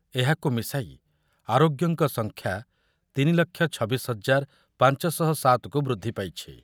ଏହାକୁ ମିଶାଇ ଶାଇ ଆରୋଗ୍ୟଙ୍କ ସଂଖ୍ୟା ତିନି ଲକ୍ଷ ଛବିଶି ହଜାର ପାଞ୍ଚ ଶହ ସାତ କୁ ବୃଦ୍ଧି ପାଇଛି ।